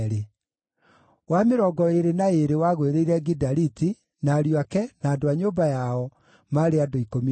wa mĩrongo ĩĩrĩ na ĩĩrĩ wagũĩrĩire Gidaliti, na ariũ ake, na andũ a nyũmba yao, maarĩ andũ 12;